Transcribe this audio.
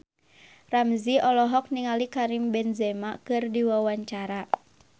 Ramzy olohok ningali Karim Benzema keur diwawancara